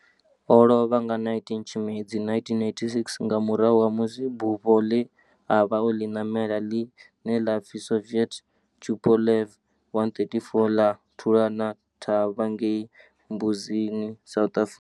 O lovha nga 19 Tshimedzi 1986 nga murahu ha musi bufho le a vha o li namela, line la pfi Soviet Tupolev 134 la thulana thavha ngei Mbuzini, South Africa.